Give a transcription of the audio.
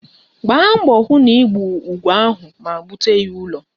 Gbaa mbọ hụ na ị gbuo ugo ahụ ma bute ya n'ụlọ